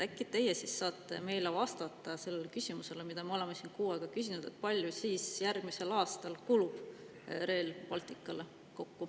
Äkki te saate vastata sellele küsimusele, mida me oleme siin kuu aega küsinud, kui palju siis järgmisel aastal kulub Rail Balticule kokku.